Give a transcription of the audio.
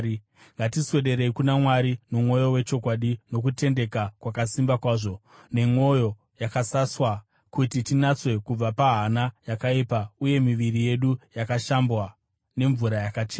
ngatiswederei kuna Mwari nomwoyo wechokwadi nokutendeka kwakasimba kwazvo, nemwoyo yakasaswa kuti tinatswe kubva pahana yakaipa uye miviri yedu yakashambwa nemvura yakachena.